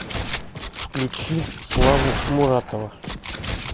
включи славу муратова